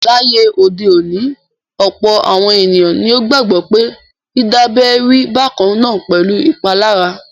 Láyé òde òní, ọ̀pọ̀ àwọn ènìyàn ni ó gbagbọ pé dídábẹ rí bákan náà pẹ̀lú ìpalára.